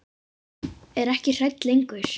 Er ekki hrædd lengur.